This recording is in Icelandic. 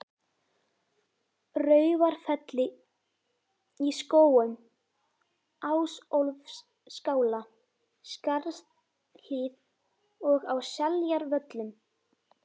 Raufarfelli, í Skógum, Ásólfsskála, Skarðshlíð og á Seljavöllum.